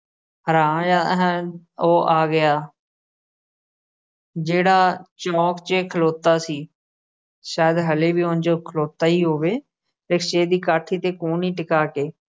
ਉਹ ਆ ਗਿਆ, ਜਿਹੜਾ ਚੌਂਕ 'ਚ ਖਲੋਤਾ ਸੀ। ਸ਼ਾਇਦ ਹਾਲੇ ਵੀ ਉਂਜ ਖਲੋਤਾ ਈ ਹੋਵੇ rickshaw ਦੀ ਕਾਠੀ ਤੇ ਕੂਹਣੀ ਟਿਕਾ ਕੇ।